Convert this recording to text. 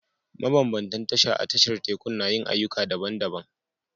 Mabambantan tasha a tashar tekun na yin ayyuka daban-daban